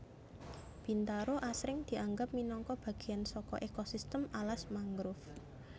Bintaro asring dianggo minangka bagéyan saka ekosistem alas mangrove